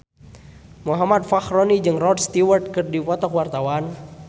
Muhammad Fachroni jeung Rod Stewart keur dipoto ku wartawan